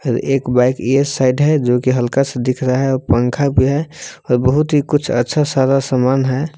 एक बाइक ये साइड है जो की हल्का सा दिख रहा है और पंखा भी है और बहुत ही कुछ अच्छा सारा समान है।